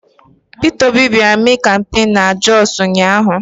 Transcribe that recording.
Pita Obi bịara mee kampain na Jọsụ ụnyaahụ.